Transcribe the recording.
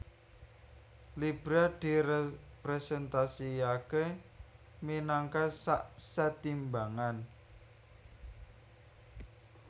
Libra direpresentasiaké minangka sak sèt timbangan